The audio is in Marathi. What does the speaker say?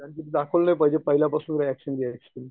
दाखवलं नाही पाहिजे पहिल्यापासून रिएक्शन रिएक्शन